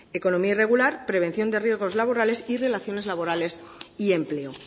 economía irregular prevención de riesgos laborales y relaciones laborales y empleo